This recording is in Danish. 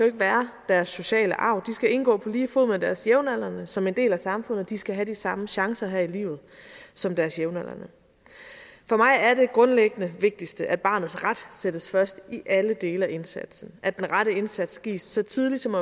ikke være deres sociale arv de skal indgå på lige fod med deres jævnaldrende som en del af samfundet og de skal have de samme chancer her i livet som deres jævnaldrende for mig er det grundlæggende og vigtigste at barnets ret sættes først i alle dele af indsatsen at den rette indsats gives så tidligt som